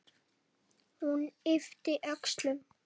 Hún yppti öxlum.